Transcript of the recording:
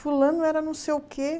Fulano era não sei o quê.